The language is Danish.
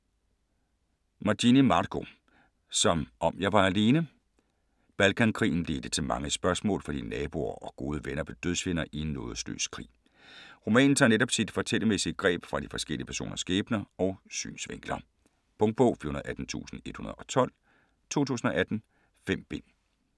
Magini, Marco: Som om jeg var alene Balkankrigen ledte til mange spørgsmål, fordi naboer og gode venner blev dødsfjender i en nådesløs krig. Romanen tager netop sit fortællermæssige greb fra forskellige personers skæbner og synsvinkler. Punktbog 418112 2018. 5 bind.